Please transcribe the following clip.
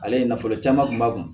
Ale ye nafolo caman kun ba kun